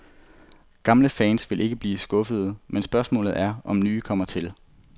Gamle fans vil ikke blive skuffede, men spørgsmålet er, om nye kommer til.